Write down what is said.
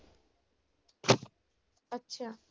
ਅੱਛਾ।